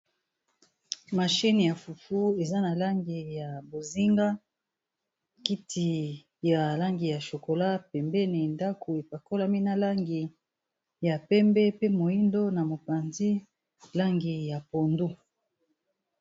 Mashine ya fufu eza na langi ya bozinga kiti ya langi ya chokola pembeni ndako epakolami na langi ya pembe pe moyindo na mopanzi langi ya pondu.